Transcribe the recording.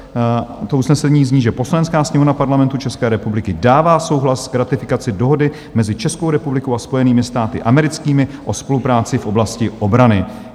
To usnesení zní, že "Poslanecká sněmovna Parlamentu České republiky dává souhlas k ratifikaci Dohody mezi Českou republikou a Spojenými státy americkými o spolupráci v oblasti obrany".